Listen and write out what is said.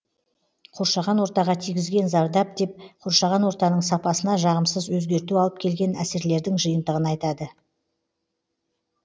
қоршаған ортаға тигізген зардап деп қоршаған ортаның сапасына жағымсыз өзгерту алып келген әсерлердің жиынтығын айтады